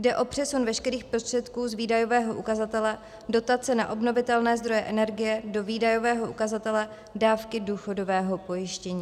Jde o přesun veškerých prostředků z výdajového ukazatele dotace na obnovitelné zdroje energie do výdajového ukazatele dávky důchodového pojištění.